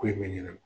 Foyi ma ɲɛnabɔ